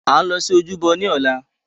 À ń lọ sí ojúbọ ní ọ̀la